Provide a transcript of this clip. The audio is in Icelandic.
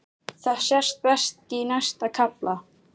Það sést best í næsta kafla.